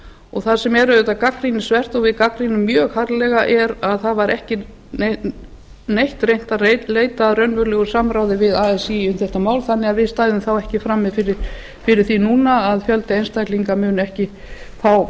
og það sem er auðvitað gagnrýnisvert og við gagnrýnum mjög harðlega er að það var ekki reynt að leita að raunverulegu samráði við así um þetta mál þannig að við stæðum ekki frammi fyrir því núna að fjöldi einstaklinga muni ekki fá